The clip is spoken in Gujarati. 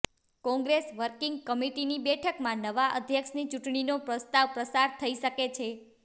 કોંગ્રેસ વર્કિંગ કમિટિની બેઠકમાં નવા અધ્યક્ષની ચૂંટણીનો પ્રસ્તાવ પસાર થઈ શકે છે